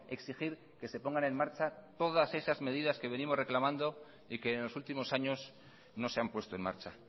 exigir que se pongan en marcha todas esas medidas que venimos reclamando y que en los últimos años no se han puesto en marcha